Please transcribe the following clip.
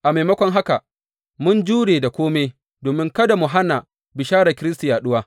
A maimakon haka, mun jure da kome, domin kada mu hana bisharar Kiristi yaɗuwa.